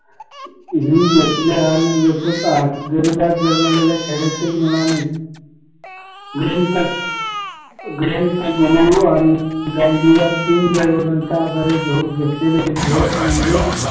ही घेतले आणि लेखक आज गरिबात जन्मलेल्या खेड्यातील मुलाने ग्रंथ ग्रंथ म्हणून व गांधीवादी आदरे गहू घेतलेले म्हणजे